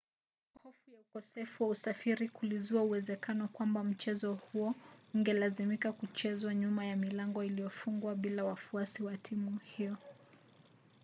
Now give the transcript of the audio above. hofu ya ukosefu wa usafiri kulizua uwezekano kwamba mchezo huo ungelazimika kuchezwa nyuma ya milango iliyofungwa bila wafuasi wa timu hiyo